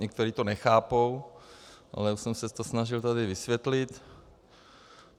Někteří to nechápou, ale já jsem se to snažil tady vysvětlit.